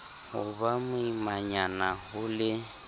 ho ba boimanyana ho le